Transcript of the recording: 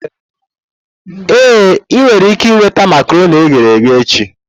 Ee, ị nwere ike nweta makaronii eghere eghe echi.